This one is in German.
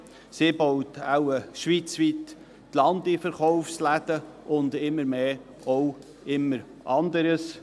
Sie baut schweizweit die LandiVerkaufsläden und wohl öfter auch immer anderes.